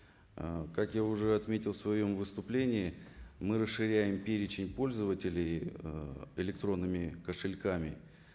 ы как я уже отметил в своем выступлении мы расширяем перечень пользователей ыыы электронными кошельками